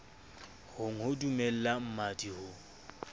hong ho dumella mmadi ho